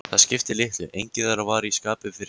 Það skipti litlu, enginn þeirra var í skapi fyrir spjall.